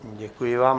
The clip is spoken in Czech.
Děkuji vám.